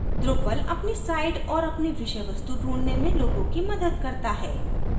drupal अपनी site और अपनी विषयवस्तु ढूँढने में लोगों की मदद करता है